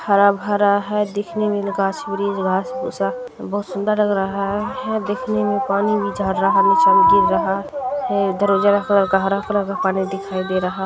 हरा-भरा है दिखने में गाछ-ब्रिछ घांस -भूंसा बहुत सुन्दर लग रहा है दिखने में पानी भी चढ़ रहा है